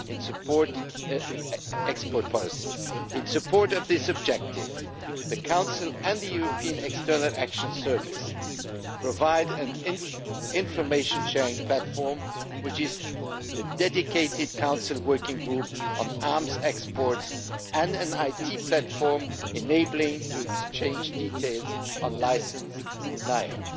In support of this objective, the Council and the European External Action Service provide an information sharing platform which is the dedicated Council working group on arms exports, and an IT platform enabling to exchange details on license denials.